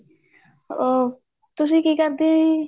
ਅਹ ਤੁਸੀਂ ਕੀ ਕਰਦੇ ਓ ਜੀ